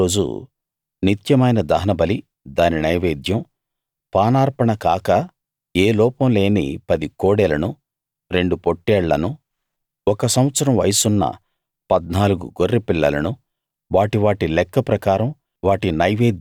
నాలుగో రోజు నిత్యమైన దహనబలి దాని నైవేద్యం పానార్పణ కాక ఏ లోపం లేని 10 కోడెలను రెండు పొట్టేళ్లను ఒక సంవత్సరం వయసున్న 14 గొర్రెపిల్లలను వాటి వాటి లెక్క ప్రకారం